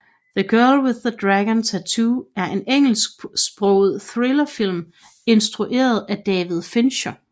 The Girl with the Dragon Tattoo er en engelsksproget thrillerfilm instrueret af David Fincher